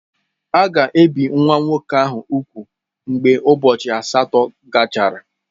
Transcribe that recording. A ga-ebi nwa nwoke ahụ úgwù mgbe ụbọchị asatọ gachara.